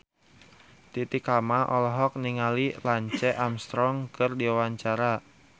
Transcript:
Titi Kamal olohok ningali Lance Armstrong keur diwawancara